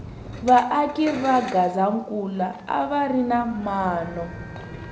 va aki va gazankula a va ri na mano